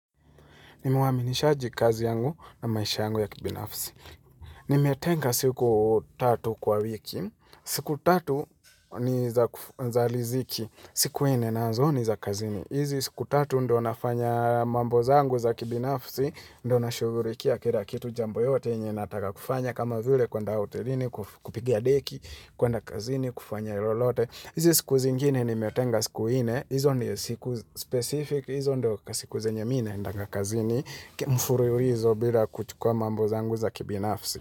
Nimuwa minishaji kazi yangu na maisha yangu ya kibinafsi. Nimetenga siku tatu kwa wiki. Siku tatu ni za liziki. Siku nne nazo ni za kazini. Izi siku tatu ndo nafanya mambo zangu za kibinafsi. Ndo na shugurikia kira kitu jambo yote nye nataka kufanya. Kama vile kwa nda hotelini, kupigia deki, kwenda kazini, kufanya ilolote. Izi siku zingine nimetenga siku ine. Izo ndio siku specific, izo ndio kasiku zenye mi naendanga kazini mfurilizo bila kuchukua mambo zangu za kibinafsi.